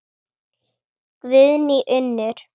Guðný Unnur.